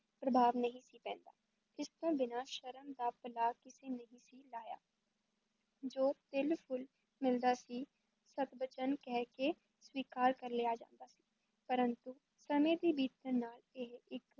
ਪ੍ਰਭਾਵ ਨਹੀਂ ਸੀ ਪੈਂਦਾ, ਇਸ ਤੋਂ ਬਿਨਾਂ ਸ਼ਰਮ ਦਾ ਪੱਲਾ ਕਿਸੇ ਨਹੀਂ ਸੀ ਲਾਹਿਆ ਜੋ ਤਿਲ-ਫੁਲ ਮਿਲਦਾ ਸੀ ਸਤਬਚਨ ਕਹਿ ਕੇ ਸਵੀਕਾਰ ਕਰ ਲਿਆ ਜਾਂਦਾ ਸੀ, ਪਰੰਤੂ ਸਮੇਂ ਦੇ ਬੀਤਣ ਨਾਲ ਇਹ ਇੱਕ